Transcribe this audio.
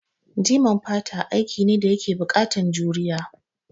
Jiman fata aiki ne da yake buƙatan juriya